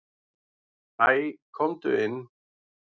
"""Hæ, komdu inn."""